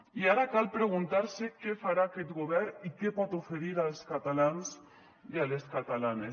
i ara cal preguntar se què farà aquest govern i què pot oferir als catalans i a les catalanes